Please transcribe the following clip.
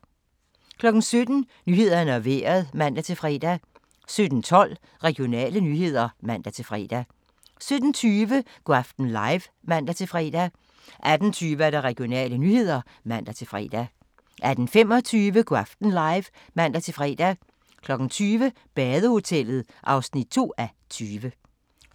17:00: Nyhederne og Vejret (man-fre) 17:12: Regionale nyheder (man-fre) 17:20: Go' aften live (man-fre) 18:20: Regionale nyheder (man-fre) 18:25: Go' aften live (man-fre) 20:00: Badehotellet (2:20)